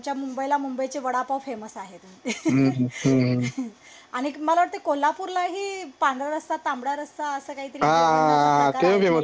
आमच्या मुंबईला मुंबईचे वडापाव फेमस आहेत ter अनेक मला वाटत कोल्हापूरलाही पांढरा रस्सा तांबडा रस्सा अस काही तरी